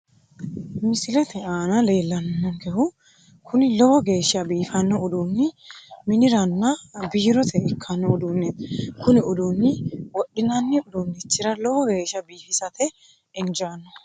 Misilete aana leellannonkehu kuni lowo geeshsha biifanno uduunni miniranna biirote ikkanno uduneeti kuni uduunni wodhi'nanni uduunnichira lowo geeshsha biifisate injaanno.